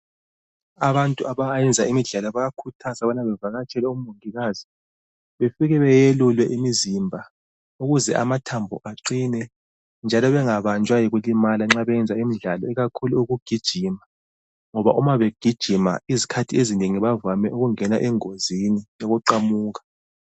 Abantu abayenza imidlalo bayakhuthazwa ukubana bevakatshela omongikazi befike beyelule imizimba ukuze amathambo aqine, njalo bengabanjwa yikulimala nxa beyenza imidlalo ikakhulu ukugijima ngoba uma begijima izikhathi ezinengi bavame ukungena engozini yokuqamuka.